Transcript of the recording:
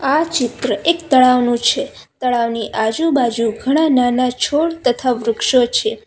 આ ચિત્ર એક તળાવનું છે તળાવની આજુબાજુ ઘણા નાના છોડ તથા વૃક્ષો છે.